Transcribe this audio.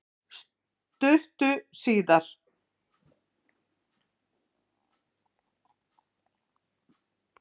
Stuttu síðar